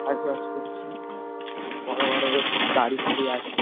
কাজ বাজ করছে বড় বড় বেশ গাড়ি ফাড়ি আছে।